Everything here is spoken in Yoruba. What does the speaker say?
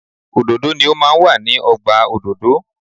Òdòdó ni o máa ń wà ní ọgbà òdòdó.